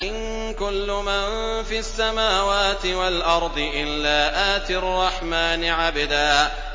إِن كُلُّ مَن فِي السَّمَاوَاتِ وَالْأَرْضِ إِلَّا آتِي الرَّحْمَٰنِ عَبْدًا